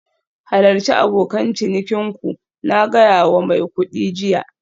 Halarci abokan cinikin ku, na gaya wa mai kuɗi jiya